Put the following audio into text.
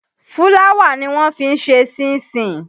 Fúláwà ni wọ́n fi ń ṣe ṣínṣin.